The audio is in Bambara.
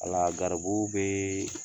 wala garibu bɛ